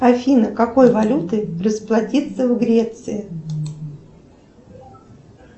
афина какой валютой расплатиться в греции